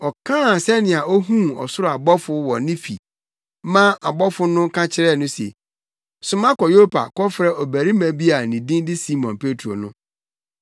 Ɔkaa sɛnea ohuu ɔsoro ɔbɔfo wɔ ne fi ma ɔbɔfo no ka kyerɛɛ no se, ‘Soma kɔ Yopa kɔfrɛ ɔbarima bi a ne din de Simon Petro no.